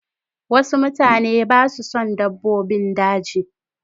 Wasu mutane ba su son dabbobin daji.